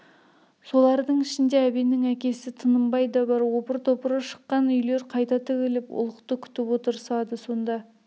солардың ішінде әбеннің әкесі тынымбай да бар опыр-топыры шыққан үйлер қайта тігіліп ұлықты күтіп отырысады сонда